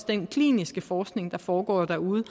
den kliniske forskning der foregår derude